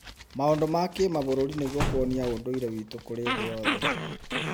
maũndũ ma kĩmabũrũri nĩguo kuonia ũndũire wĩtũ kũrĩ tĩ yothe.